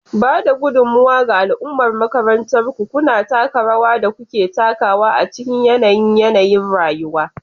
Ba da gudummawa ga al'ummar makarantarku, kuna taka rawar da kuke takawa a cikin yanayin yanayin rayuwa.